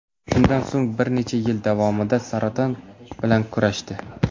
Shundan so‘ng bir necha yil davomida saraton bilan kurashdi.